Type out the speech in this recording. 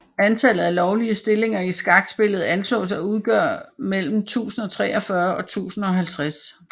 Antallet af lovlige stillinger i skakspillet anslås at udgøre mellem 1043 og 1050